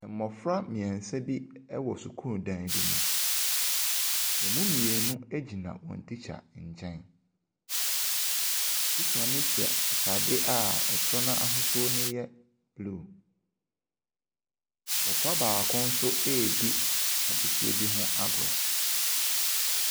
Mmɔfra mmeɛnsa bi wɔ sukuu dan bi mu. Wɔn mu mmienu gyina wɔn tikya nkyɛn. Tikya no hyɛ atadeɛ a soro no ahosuo no yɛ blue. Abɔfra baako nso redi adesua bi ho agorɔ.